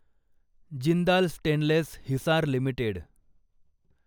Jindal stainless Hisar limited